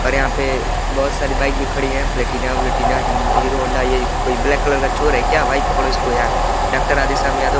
और यहाँ पे बहुत सारी बाइक भी खड़ी है प्लेटिना उल्टीना हिन्द हीरो होंडा ये ब्लैक कलर का चोर है क्या भाई पकड़ो इसको यार डॉक्टर राधेशयम यादव --